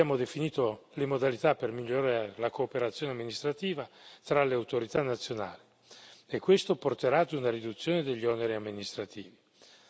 Abbiamo definito le modalità per migliorare la cooperazione amministrativa tra le autorità nazionali, e questo porterà ad una riduzione degli oneri amministrativi.